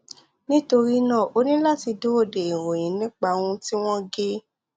nítorí náà o ní láti dúró de ìròyìn nípa ohun tí wọn gé